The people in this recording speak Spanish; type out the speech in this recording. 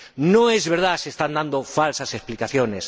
No es verdad, se están dando falsas explicaciones.